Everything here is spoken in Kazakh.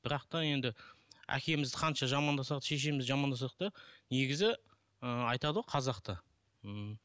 бірақ та енді әкемізді қанша жамандасақ та шешемізді жамандасақ та негізі ыыы айтады ғой қазақта